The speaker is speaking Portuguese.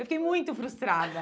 Eu fiquei muito frustrada.